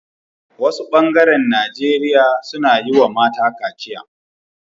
Wasu bengaren nageria suna yi wa mata kaciya